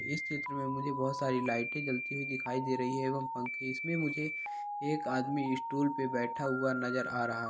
इस चित्र में मुझे बहुत सारी लाइटे जलती हुई दिखाई दे रही है। एवं पंखे इसमें मुझे एक आदमी स्टुल पे बैठा हुआ नज़र आ रहा--